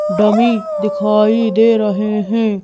Dummy दिखाई दे रहे हैं।